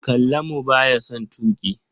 Kallamu ba ya son tuƙi.